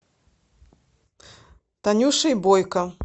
танюшей бойко